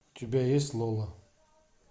у тебя есть лола